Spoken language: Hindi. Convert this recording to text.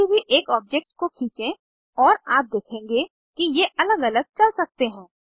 किसी भी एक ऑब्जेक्ट को खींचें और आप देखेंगे कि ये अलग अलग चल सकते हैं